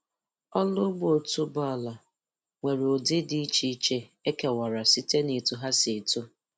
oru ugbo otuboala nwere ụdị dị iche iche e kewara site n'etu ha si eto